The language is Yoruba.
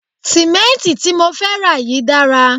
Sì̀mẹ́ǹtì tí mo fẹ́ rà yìí dára